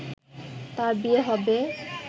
তার বিয়ে হবে